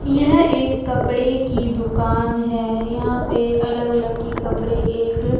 यह एक कपड़े की दुकान है। यहां पे अलग अलग की कपड़े एक--